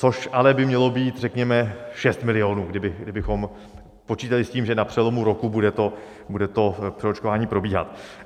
Což ale by mělo být řekněme 6 milionů, kdybychom počítali s tím, že na přelomu roku bude to přeočkování probíhat.